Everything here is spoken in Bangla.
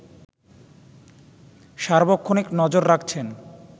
সার্বক্ষণিক নজর রাখছেন